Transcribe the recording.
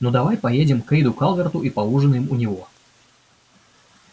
ну давай поедем к кэйду калверту и поужинаем у него